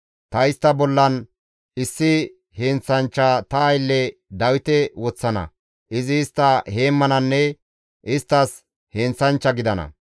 Ta istta bollan issi heenththanchcha ta aylle Dawite woththana; izi istta heemmananne isttas heenththanchcha gidana.